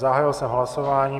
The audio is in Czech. Zahájil jsem hlasování.